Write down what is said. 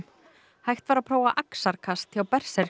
hægt var að prófa axarkast hjá